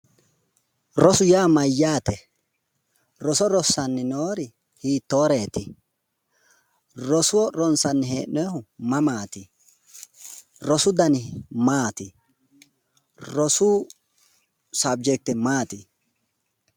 Rosu yaa mayyaate? Roso rossayi noori hiittooreeti? Roso ronsayi hee'noyihu mamaati? Rosu dani maati? Rosu sabjekite maati?